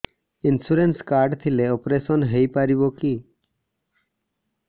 insurance card ଥିଲେ operation ହେଇପାରିବ କି